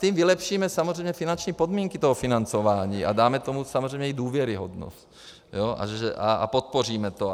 Tím vylepšíme samozřejmě finanční podmínky toho financování a dáme tomu samozřejmě i důvěryhodnost a podpoříme to.